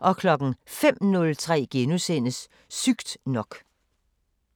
05:03: Sygt nok *